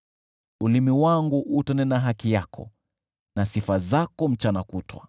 Ulimi wangu utanena haki yako na sifa zako mchana kutwa.